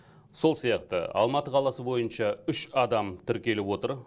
сол сияқты алматы қаласы бойынша үш адам тіркеліп отыр